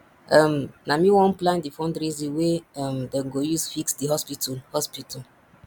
um na me wan plan di fundraising wey um dem go use fix di hospital hospital